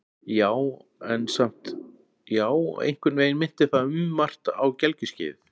Já, en samt- já, einhvern veginn minnti það um margt á gelgjuskeiðið.